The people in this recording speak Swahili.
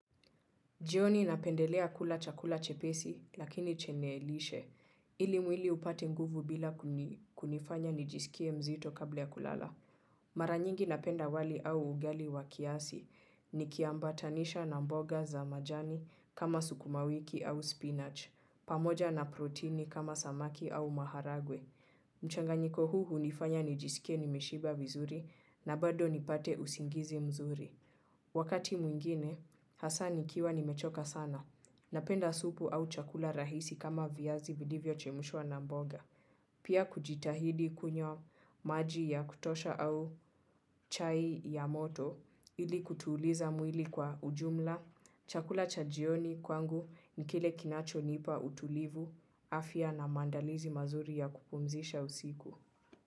Jioni napendelea kula chakula chepesi lakini chenelishe ili mwili upate nguvu bila kuni, kunifanya nijisikie mzito kabla ya kulala. Mara nyingi napenda wali au ugali wa kiasi nikiambatanisha na mboga za majani kama sukuma wiki au spinach pamoja na protini kama samaki au maharagwe. Mchanganyiko huu hunifanya nijisikie nimeshiba vizuri na bado nipate usingizi mzuri. Wakati mwingine hasa nikiwa nimechoka sana. Napenda supu au chakula rahisi kama viazi vilivyo chemushwa na mboga. Pia kujitahidi kunywa maji ya kutosha au chai ya moto ili kutuliza mwili kwa ujumla. Chakula cha jioni kwangu ni kile kinacho nipa utulivu afya na maandalizi mazuri ya kupumzisha usiku.